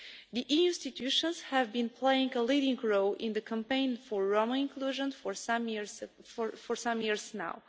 The EU institutions have been playing a leading role in the campaign for Roma inclusion for some years